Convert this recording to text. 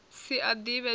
si a ḓivhe toe ni